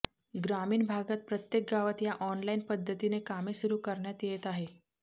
ग्रामीण भागात प्रत्येक गावात या ऑनलाईन पद्धतीने कामे सुरू करण्यात येत आहे